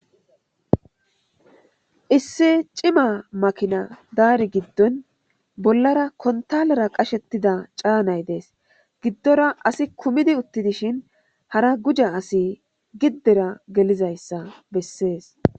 Issi cima makina daari giddon bollara kontalera qashettida caanay dees giddora asi kumidi utti dishin hara guja asi giddera gelizayssa bessees